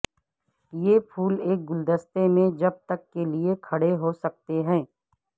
یہ پھول ایک گلدستے میں جب تک کے لئے کھڑے ہو سکتے ہیں